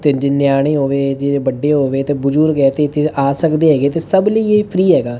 ਤੇ ਜੇ ਨਿਆਣੇਂ ਹੋ ਗਏ ਜੇ ਏਹ ਵੱਡੇ ਹੋ ਗਏ ਤੇ ਬੁਜੁਰਗ ਹੈ ਤੇ ਏਹ ਇੱਥੇ ਆ ਸਕਦੇ ਹੈਗੇ ਤੇ ਸਭ ਲਈ ਏਹ ਫਰੀ ਹੈਗਾ।